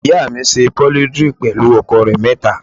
Ìyá mi ńṣe polidri pẹlú àwọn ọkọ rẹ mẹta.